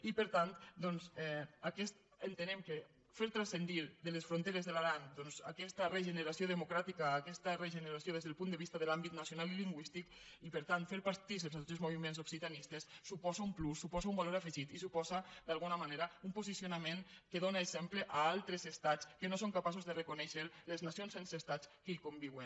i per tant doncs entenem que fer transcendir de les fronteres de l’aran doncs aquesta regeneració democràtica aquesta regeneració des del punt de vista de l’àmbit nacional i lingüístic i per tant fer partícips els diferents moviments occitanistes suposa un plus suposa un valor afegit i suposa d’alguna manera un posicionament que dóna exemple a altres estats que no són capaços de reconèixer les nacions sense estat que hi conviuen